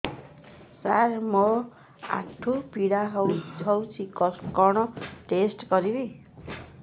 ସାର ମୋର ଆଣ୍ଠୁ ପୀଡା ହଉଚି କଣ ଟେଷ୍ଟ କରିବି